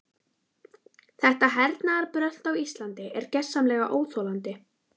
Þetta hernaðarbrölt á Íslandi er gersamlega óþolandi.